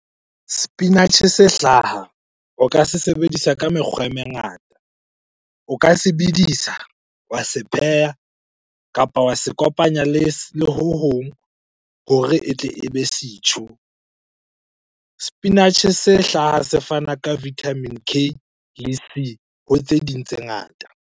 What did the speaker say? Sepinatjhe se hlaha o ka se sebedisa ka mekgwa e mengata. O ka se bedisa, wa se pheha kapa wa se kopanya le ho hong hore e tle e be setjhu. Sepinatjhe se hlaha se fana ka vitamin K le C ho tse ding tse ngata.